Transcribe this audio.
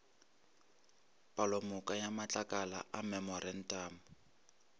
palomoka ya matlakala a memorantamo